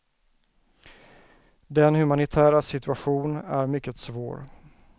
Den humanitära situation är mycket svår.